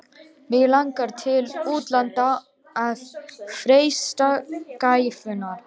Mig langar til útlanda að freista gæfunnar.